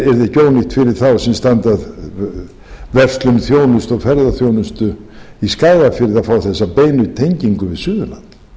fyrir þá sem standa að verslun þjónustu og ferðaþjónustu í skagafirði að fá þessa beinu tengingu við suðurland